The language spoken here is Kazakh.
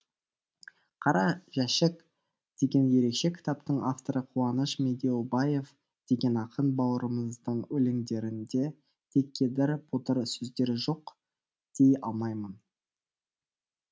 қара жәшік деген ерекше кітаптың авторы қуаныш медеубаев деген ақын бауырымыздың өлеңдерінде де кедір бұдыр сөздер жоқ дей алмаймын